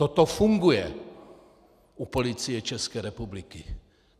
Toto funguje u Policie České republiky.